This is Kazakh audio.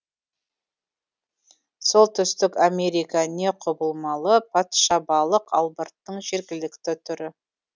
солтүстік америка не құбылмалы патшабалық албырттың жергілікті түрі